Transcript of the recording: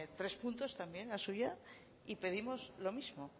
tres puntos también la suya y pedimos lo mismo